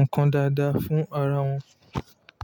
ǹkan dáadáa fún ara wọn.